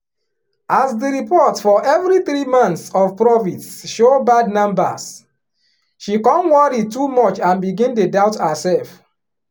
as di report for every three months of profits show bad numbers she come worry too much and begin dey doubt herself